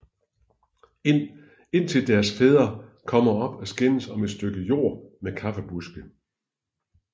Indtil deres fædre kommer op at skændes om et stykke jord med kaffebuske